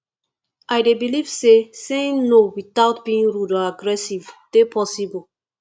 i dey believe say saying no without being rude or aggressive dey possible